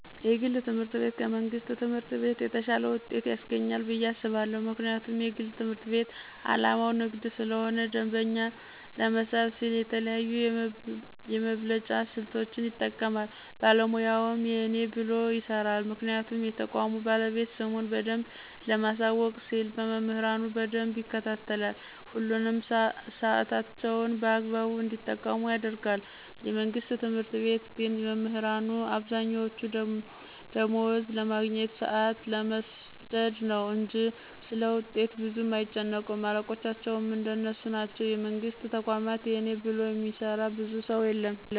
የግል ትምህርት ቤት ከመንግስት ትምህርት ቤት የተሻለ ውጤት ያስገኛል ብየ አስባለሁ። ምክንያቱም የግል ትምህርት ቤት አላማው ንግድ ስለሆነ ደንበኛ ለመሳብ ሲል የተለያዩ የመብለጫ ስልቶችን ይጠቀማል ባለሙያውም የእኔ ብሎ ይሰራል ምክንያቱም የተቋሙ ባለቤት ስሙን በደንብ ለማሳወቅ ሲል መምህራኑን በደንብ ይከታተላል፣ ሁሉንም ሳዕታቸውን በአግባቡ እንዲጠቀሙ ያደርጋል፤ የመንግስት ትምህርት ቤት ግን መምህራኑ አብዛኛወቹ ደማወዝ ለማግኘት፣ ሳአት ለመስደድ ነው እንጅ ስለውጤት ብዙም አይጨነቁም አለቆቻቸውም እንደነሱ ናቸው የመንግስትን ተቋማት የእኔ ብሎ የሚሰራ ብዙ ሰው የለም።